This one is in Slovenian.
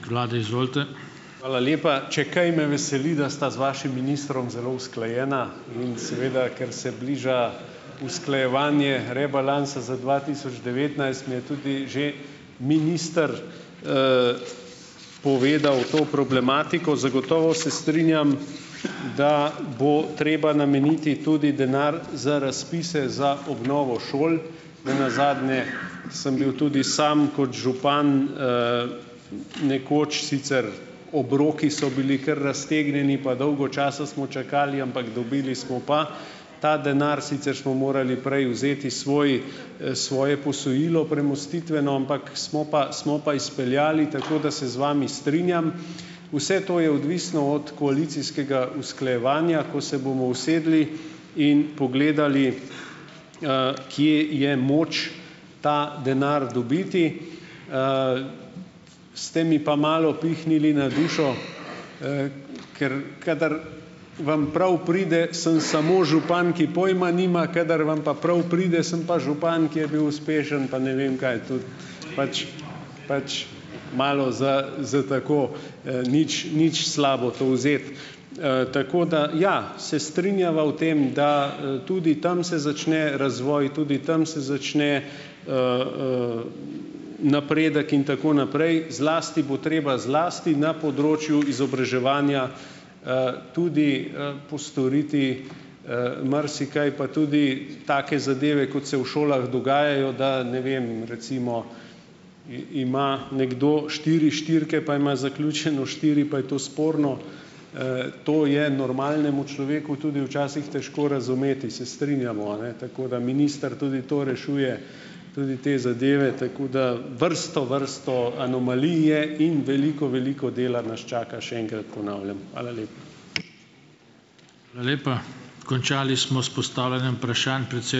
Hvala lepa. Če kaj, me veseli, da sta z vašim ministrom zelo usklajena in seveda, ker se bliža usklajevanje rebalansa za dva tisoč devetnajst, mi je tudi že minister povedal to problematiko. Zagotovo se strinjam, da bo treba nameniti tudi denar za razpise za obnovo šol. Ne nazadnje sem bil tudi sam kot župan, nekoč sicer obroki so bili kar raztegnjeni pa dolgo časa smo čakali, ampak dobili smo pa ta denar, sicer smo morali prej vzeti svoj, svoje posojilo, premostitveno, ampak smo pa smo pa izpeljali, tako da se z vami strinjam. Vse to je odvisno od koalicijskega usklajevanja, ko se bomo usedli in pogledali, kje je moč ta denar dobiti. Ste mi pa malo pihnili na dušo, ker kadar vam prav pride, sem samo župan, ki pojma nima, kadar vam pa prav pride sem pa župan, ki je bil uspešen pa ne vem kaj, to pač pač malo za za tako, nič nič slabo to vzeti. Tako da, ja. Se strinjava v tem, da, tudi tam se začne razvoj, tudi tam se začne, napredek in tako naprej. Zlasti bo treba zlasti na področju izobraževanja, tudi, postoriti, marsikaj, pa tudi take zadeve, kot se v šolah dogajajo, da ne vem recimo ima nekdo štiri štirke, pa ima zaključeno štiri, pa je to sporno. To je normalnemu človeku tudi včasih težko razumeti, se strinjamo, a ne. Tako, da minister tudi to rešuje, tudi te zadeve, tako da vrsto vrsto anomalij je in veliko veliko dela nas čaka, še enkrat ponavljam. Hvala lepa.